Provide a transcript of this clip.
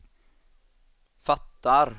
fattar